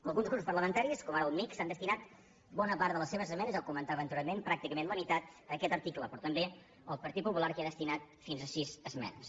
alguns grups parlamentaris com ara el mixt han destinat bona part de les seves esmenes ja ho comentava anteriorment pràcticament la meitat a aquest article però també el partit popular que hi ha destinat fins a sis esmenes